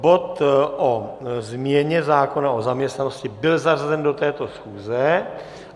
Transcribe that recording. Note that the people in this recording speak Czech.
Bod o změně zákona o zaměstnanosti byl zařazen do této schůze.